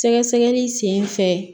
Sɛgɛsɛgɛli sen fɛ